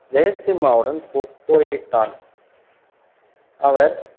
ஜெயசிம்மாவுடன் போ~ போரிட்டான் அவர்